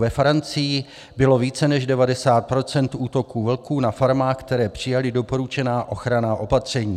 Ve Francii bylo více než 90 % útoků vlků na farmách, které přijaly doporučená ochranná opatření.